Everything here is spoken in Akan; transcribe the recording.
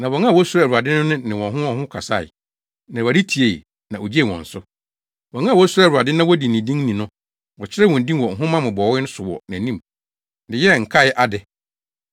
Na wɔn a wosuro Awurade no ne wɔn ho wɔn ho kasae, na Awurade tiei, na ogyee wɔn so. Wɔn a wosuro Awurade na wodi ne din ni no, wɔkyerɛw wɔn din wɔ nhoma mmobɔwee so wɔ nʼanim de yɛɛ nkae ade.